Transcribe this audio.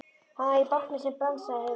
Hann var í bátnum sem brann, sagði Heiða.